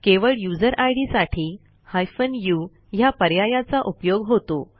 केवळ यूझर इद साठी हायफेन उ ह्या पर्यायाचा उपयोग होतो